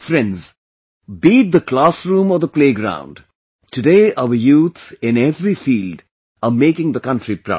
Friends, be it the classroom or the playground, today our youth, in every field, are making the country proud